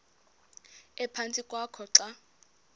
ephantsi kwakho xa